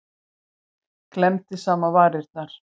Klemmdi saman varirnar.